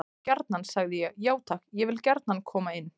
Já gjarnan, sagði ég: Já takk, ég vil gjarnan koma inn.